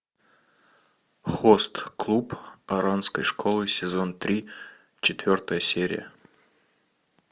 хост клуб оранской школы сезон три четвертая серия